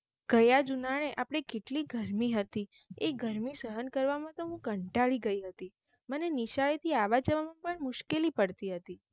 ગયા જ ઉનાલે આપણે કેટલી ગરમી હતી આ ગરમી સહન કરવા માં તો હું કંટાળી ગઈ હતી મને નિશાળે થી આવવા જવા માં પણ મુશ્ક્લેલી પડટી હતી